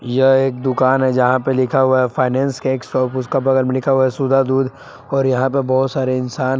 यह एक दुकान है जहाँ पे लिखा हुआ हैं फैंसी केक शॉप उसका बगल में लिखा है सुधा दुध और यहां पर बहुत सारे इंसान है।